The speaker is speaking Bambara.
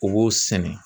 U b'o sɛnɛ